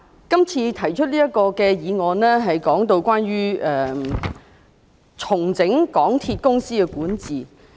今次提出這項議案，是關於重整港鐵公司的管治。